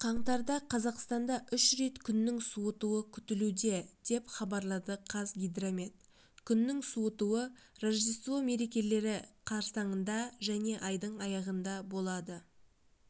қаңтарда қазақстанда үш рет күннің суытуы күтілуде деп хабарлады қазгидромет күннің суытуы рождество мерекелері қарсаңында және айдың аяғында болады